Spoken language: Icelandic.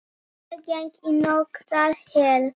Ég geng í nokkrar hel